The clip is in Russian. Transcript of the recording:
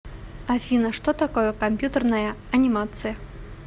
афина что такое компьютерная анимация